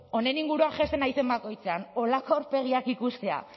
honen inguruan jaisten naizen bakoitzean horrelako aurpegiak ikustea